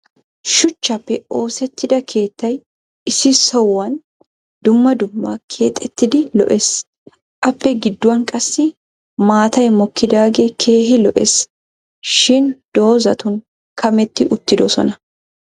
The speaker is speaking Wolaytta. shuchchaappe oosetida keettay issi sohuwan dumma dumma keexettidi lo'ees. appe giduwan qassi maatay mokkidagee keehi lo'ees. shin dozatun kammeti uttidosona.